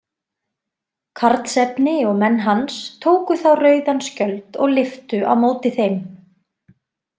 Karlsefni og menn hans tóku þá rauðan skjöld og lyftu á móti þeim.